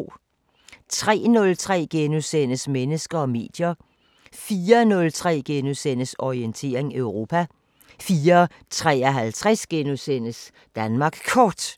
03:03: Mennesker og medier * 04:03: Orientering Europa * 04:53: Danmark Kort *